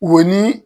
Wo ni